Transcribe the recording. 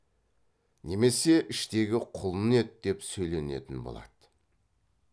немесе іштегі құлын еді деп сөйленетін болады